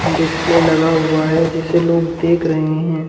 Display लगा हुआ है जिसे लोग देख रहे हैं ।